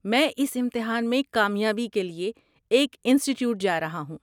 میں اس امتحان میں کامیابی کے لیے ایک انسٹی ٹیوٹ جا رہا ہوں۔